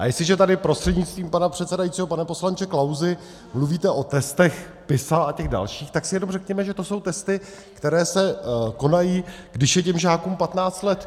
A jestliže tady prostřednictvím pana předsedajícího, pane poslanče Klausi, mluvíte o testech PISA a těch dalších, tak si jenom řekněme, že to jsou testy, které se konají, když je těm žákům 15 let.